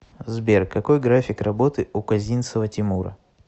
сбер какой график работы у козинцева тимура